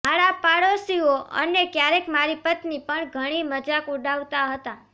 મારા પડોશીઓ અને ક્યારેક મારી પત્ની પણ ઘણી મજાક ઉડાવતા હતા